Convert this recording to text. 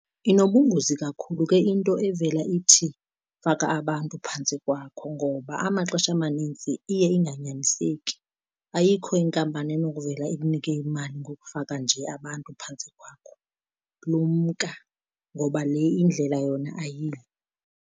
Inobungozi kakhulu ke into evela ithi faka abantu phantsi kwakho ngoba amaxesha amanintsi iye inganyaniseki. Ayikho inkampani enokuvela ikunike imali ngokufaka nje abantu phantsi kwakho. Lumka ngoba le indlela yona ayiyo.